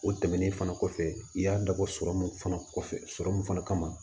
O tɛmɛnen fana kɔfɛ i y'a dabɔ sɔrɔmu fana kɔfɛ fana kama